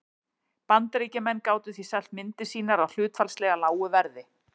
Bandaríkjamenn gátu því selt myndir sínar á hlutfallslega lágu verði.